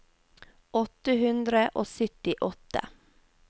åtte hundre og syttiåtte